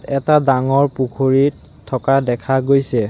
এটা ডাঙৰ পুখুৰীত থকা দেখা গৈছে।